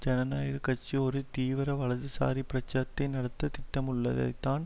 ஜனநாயக கட்சி ஒரு தீவிர வலதுசாரி பிரச்சாரத்தை நடத்த திட்டமிட்டுள்ளதைத்தான்